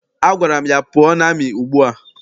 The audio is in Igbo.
Agwara m ya, pụọ n'amị ugbua!